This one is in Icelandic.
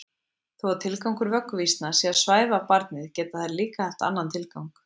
Þó að tilgangur vögguvísna sé að svæfa barnið geta þær líka haft annan tilgang.